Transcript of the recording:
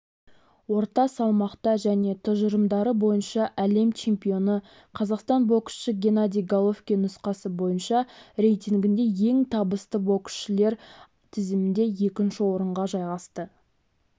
орта салмақта және тұжырымдары бойынша әлем чемпионы қазақстандық боксшы геннадий головкин нұсқасы бойынша рейтингінде ең табысты боксшылар тізімінде екінші орынға жайғасты